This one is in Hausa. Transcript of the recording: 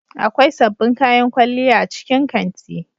Akwai sabbin kayan kwalliya a cikin kanti.